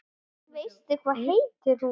Veistu hvað heitir hún?